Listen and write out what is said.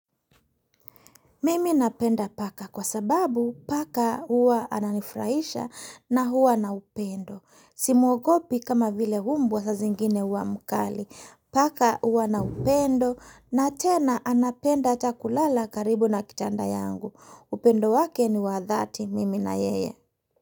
Mimi napenda paka kwa sababu paka huwa ananifraisha na huwa na upendo. Simuogopi kama vile umbwa sa zingine huwa mkali. Paka huwa na upendo na tena anapenda ata kulala karibu na kitanda yangu. Upendo wake ni wa dhati mimi na yeye.